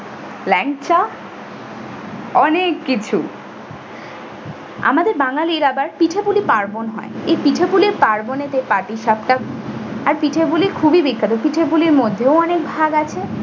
লেংচা। অনেক কিছু আমাদের বাঙালির আবার পিঠে পুলি পার্বণ হয়, এই পিঠে পুলি পার্বণেতে পাটি সাপটার আর পিঠে গুলি খুবই বিখ্যাত, পিঠে পুলির মধ্যেও অনেক ভাগ আছে।